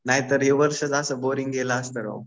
नाहीतर हे वर्ष असंच बोरिंग गेल असतं राव.